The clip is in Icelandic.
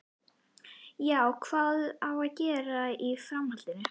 Já, hvað á að gera í framhaldinu?